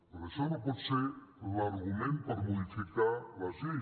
però això no pot ser l’argument per modificar les lleis